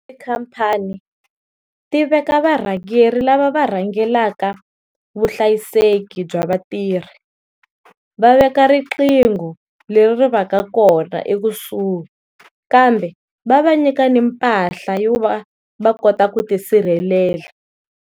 Tikhampani ti veka varhangeri lava var hangelaka vuhlayiseki bya vatirhi, va veka riqingho leri ri va ka kona ekusuhi kambe va va nyika na mpahla yo va va kota ku tisirhelela.